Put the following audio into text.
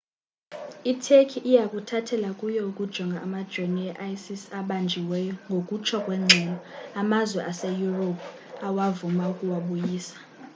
iturkey iya kuthathela kuyo ukujonga amajonii e-isis abanjiweyo ngokutsho kwengxelo amazwe aseyurophu awavuma ukuwabuyisa